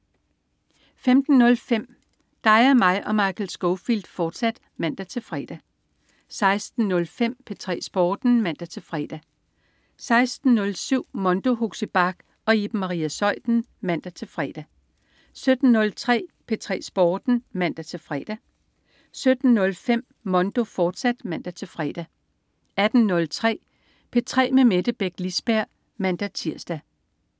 15.05 Dig, mig og Michael Scofield, fortsat (man-fre) 16.05 P3 Sporten (man-fre) 16.07 Mondo. Huxi Bach og Iben Maria Zeuthen (man-fre) 17.03 P3 Sporten (man-fre) 17.05 Mondo, fortsat (man-fre) 18.03 P3 med Mette Beck Lisberg (man-tirs)